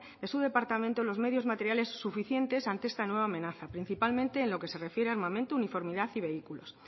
de su departamento los medios materiales suficientes ante esta nueva amenaza principalmente en lo que se refiera a armamento uniformidad y vehículos